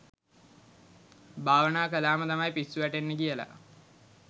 භවනා කළා ම තමයි පිස්සු වැටෙන්නේ කියලා.